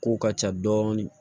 Kow ka ca dɔɔnin